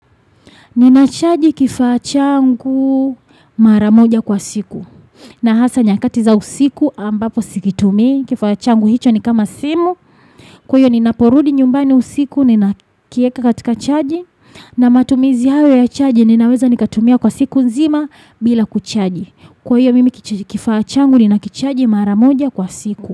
Ninachaji kiafachangu maramoja kwa siku na hasa nyakatiza usiku ambapo sikitumi kifachangu hicho ni kama simu kwaio ninaporudi nyumbani usiku ninakieka katika chaji na matumizi hawe ya chaji ninaweza nikatumia kwa siku nzima bila kuchaji kwaio mimi kifachangu ninakichaji maramoja kwa siku.